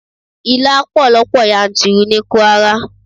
Ilá pọ̀ lọ́pọ̀ yanturu ní Kwara